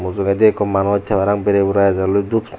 mujungedi ikko manus tey parapang bero burai ejelloi dup.